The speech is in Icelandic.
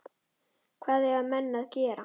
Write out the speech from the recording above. Hvað eiga menn að gera?